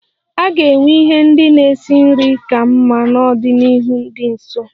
A ga-enwe ihe ndị na-esi nri ka mma n'ọdịnihu dị nso.